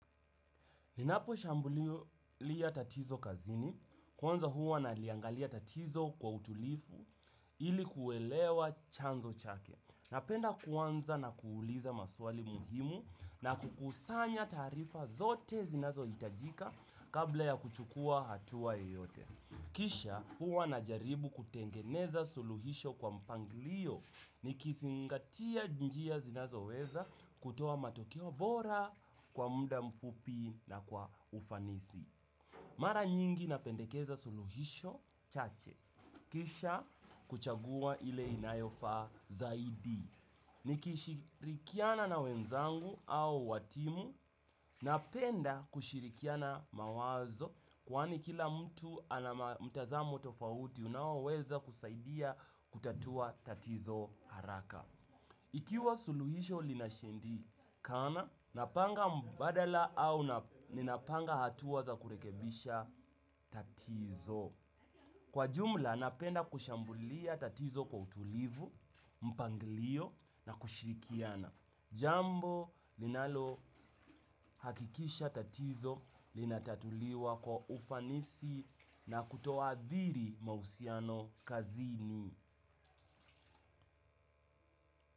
Ninaposhambulia tatizo kazini, kwanza huwa naliangalia tatizo kwa utulivu ili kuelewa chanzo chake. Napenda kuanza na kuuliza maswali muhimu na kukusanya taarifa zote zinazohitajika kabla ya kuchukua hatua yeyote. Kisha huwa najaribu kutengeneza suluhisho kwa mpangilio nikizingatia njia zinazoweza kutoa matokeo bora kwa muda mfupi na kwa ufanisi. Mara nyingi napendekeza suluhisho chache. Kisha kuchagua ile inayofaa zaidi. Nikishirikiana na wenzangu au wa timu, napenda kushirikiana mawazo kwani kila mtu ana mtazamo tofauti unaoweza kusaidia kutatua tatizo haraka. Ikiwa suluhisho linashindikana, napanga mbadala au ninapanga hatua za kurekebisha tatizo. Kwa jumla napenda kushambulia tatizo kwa utulivu, mpangilio na kushirikiana. Jambo linalohakikisha tatizo linatatuliwa kwa ufanisi na kutoathiri mahusiano kazini.